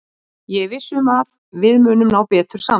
Ég er viss um að við munum ná betur saman.